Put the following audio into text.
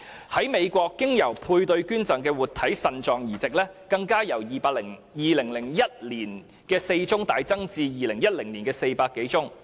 在美國，經由配對捐贈進行的活體腎臟移植更由2001年的4宗，大幅增加至2010年的400多宗。